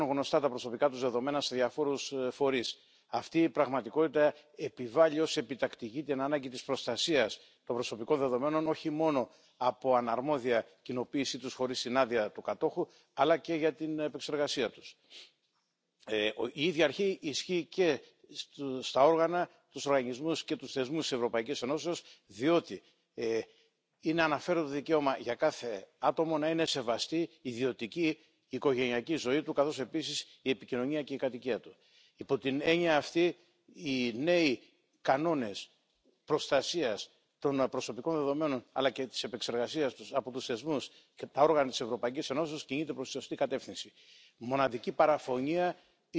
Der von Cornelia Ernst vorgelegte legislative Bericht löst alle in diesem Zusammenhang relevanten Fragen. Die bisher geltenden Regeln aus 2001 werden an die Datenschutz Grundverordnung sowie an die Datenschutzrichtlinie für elektronische Kommunikation angepasst. Es ist daher wichtig, dass dieses Legislativvorhaben auf der Basis des Parlamentsbeschlusses rasch finalisiert und nicht verwässert wird. Hervorheben möchte ich auch die Rolle des Europäischen Datenschutzbeauftragten. Der Ausschuss für bürgerliche Freiheiten, Justiz und Inneres konnte gegenüber dem Kommissionsvorschlag wichtige Verbesserungen erreichen vor allem was den Anwendungsbereich der Institutionen betrifft.